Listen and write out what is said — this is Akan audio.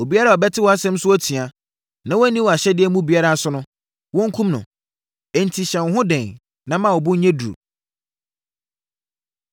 Obiara a ɔbɛte wʼasɛm so atua na wanni wʼahyɛdeɛ mu biara so no, wɔnkum no. Enti, hyɛ wo ho den na ma wo bo nyɛ duru!”